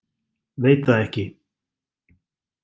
Veit það ekki.